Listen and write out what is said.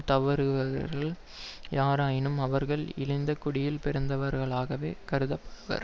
தவறுகிறவர்கள் யாராயினும் அவர்கள் இழிந்த குடியில் பிறந்தவர்களாகவே கருதப்படுவர்